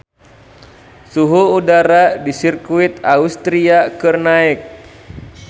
Suhu udara di Sirkuit Austria keur naek